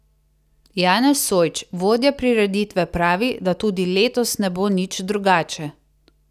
Janez Sojč, vodja prireditve pravi, da tudi letos ne bo nič drugače.